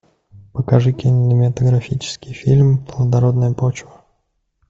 покажи кинематографический фильм плодородная почва